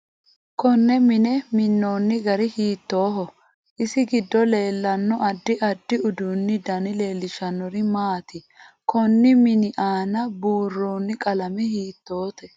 Konne mine minooni gari hiitooho isi giddo leelano addi addi uduunu dani leelishanori maati konni mini aana burooni qalame hiitoote